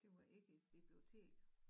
Det var ikke et bibliotek?